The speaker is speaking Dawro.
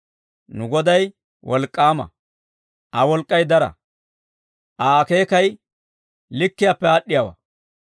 Nu Goday wolk'k'aama; Aa wolk'k'ay dara; Aa akeekay likkiyaappe aad'd'iyaawaa.